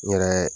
N yɛrɛ